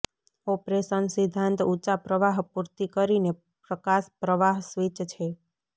operation સિદ્ધાંત ઊંચા પ્રવાહ પૂર્તિ કરીને પ્રકાશ પ્રવાહ સ્વિચ છે